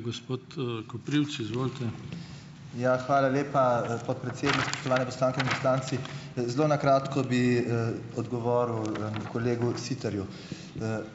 gospod, Koprivc, izvolite . Ja, hvala lepa, podpredsednik, spoštovane poslanke in poslanci . zelo na kratko bi, odgovoril kolegu Siterju .